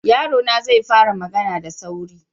Yarona zai fara magana da sauri.